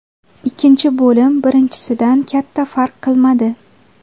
Ikkinchi bo‘lim birinchisidan katta farq qilmadi.